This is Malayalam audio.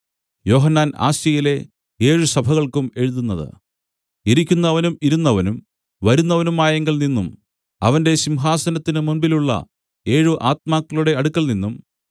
യോഹന്നാൻ ആസ്യയിലെ ഏഴ് സഭകൾക്കും എഴുതുന്നത് ഇരിക്കുന്നവനും ഇരുന്നവനും വരുന്നവനുമായവങ്കൽ നിന്നും അവന്റെ സിംഹാസനത്തിന്മുമ്പിലുള്ള ഏഴ് ആത്മാക്കളുടെ അടുക്കൽനിന്നും